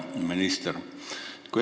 Hea minister!